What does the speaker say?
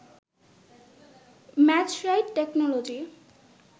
match right technology